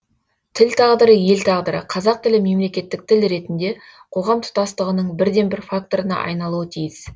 тіл тағдыры ел тағдыры қазақ тілі мемлекеттік тіл ретінде қоғам тұтастығының бірден бір факторына айналуы тиіс